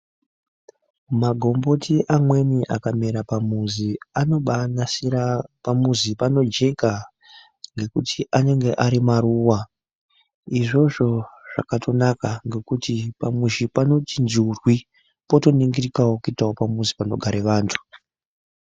Magomboti amweni akamera pamuzi anobanasira pamuzi panojeka. Nekuti anonga ari maruva izvozvo zvakatonaka ngekuti pamuzi panoti njurwi potoningirikavo kuitavo pamuzi panogare vantu.